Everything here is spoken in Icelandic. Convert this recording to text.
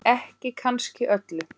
Ekki kannski öllu.